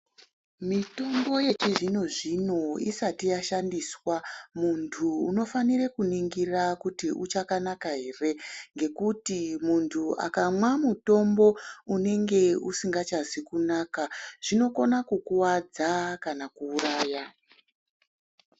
Mitombo yechizvino zvino isati yashandiswa, muntu unofanire kuningira kuti uchakanaka here ngekuti muntu akamwa mutombo unenge usingachazi kunaka zvinokona kukuwadza kana kuuraya.